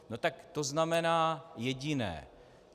No tak to znamená jediné.